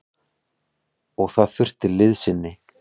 Og það þurfti liðsinni.